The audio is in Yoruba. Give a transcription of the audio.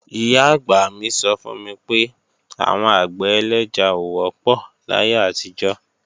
Ìyá-àgbà mí sọ fún mi pé, àwọn àgbẹ̀ ẹlẹ́ja ò wọ́pọ̀ láyé àtijọ́